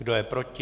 Kdo je proti?